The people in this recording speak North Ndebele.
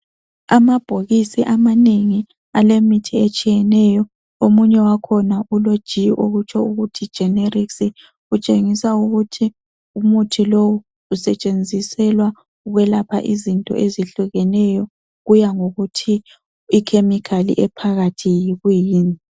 Amabhokisi amanengi alemithi etshiyeneyo omunye wakhona ulog okutsho ukuthi generisi okuntshengisa ukuthi umuthi lowu usentshenziselwa ukwelapha izinto ezehlukeneyo kuya ngokuthi ikhemikhali ephakathi yikuyini